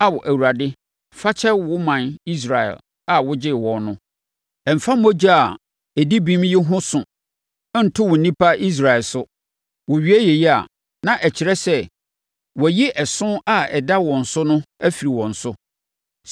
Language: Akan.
Ao, Awurade, fa kyɛ wo ɔman Israel a wogyee wɔn no. Mfa mogya a ɛdi bem yi ho so nto wo nnipa Israel so.” Wɔwie yei a, na ɛkyerɛ sɛ, wɔayi ɛso a ɛda wɔn so no afiri wɔn so.